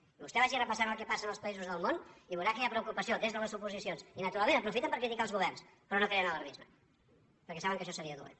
i vostè vagi repassant el que passa en els països del món i veurà que hi ha preocupació des de les oposicions i naturalment aprofiten per criticar els governs però no creen alarmisme perquè saben que això seria dolent